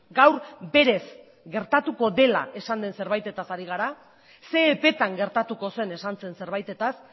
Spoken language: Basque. gaur berez gertatuko dela esan den zerbaitetaz ari gara ze epeetan gertatuko zen esan zen zerbaitetaz